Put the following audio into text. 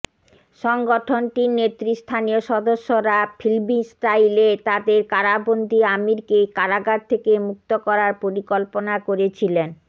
সংগঠনটির নেতৃস্থানীয় সদস্যরা ফিল্মি স্টাইলে তাদের কারাবন্দি আমিরকে কারাগার থেকে মুক্ত করার পরিকল্পনা করেছিলেন